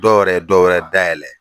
Dɔw yɛrɛ ye dɔwɛrɛ dayɛlɛ.